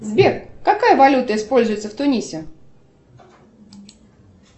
сбер какая валюта используется в тунисе